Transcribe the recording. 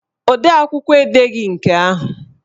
Odeakwụkwọ edeghi nke ahụ